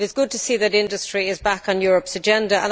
It is good to see that industry is back on Europe's agenda.